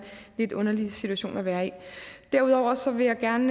lidt underlig situation at være i derudover vil jeg gerne